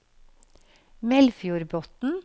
Melfjordbotn